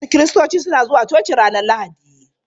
Wasu Kiristoci suna zuwa coci ranar Lahadi.